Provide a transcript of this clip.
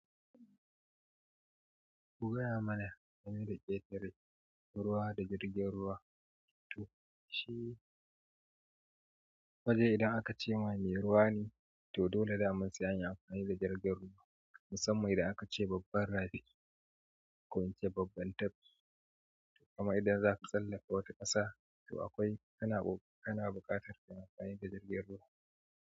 Ku gaya mana hanyar ƙetare ruwa da jirgin ruwa. To shi, waje idan aka ce ma mai ruwa ne to dole dama sai anyi amfani da jirgin ruwa. Musamman idan aka ce babban rafi ko ince babban tafki kuma idan zaka tsallaka wata ƙasa to akwai, kana ƙo kana buƙatar kayi amfani da jirgin ruwa.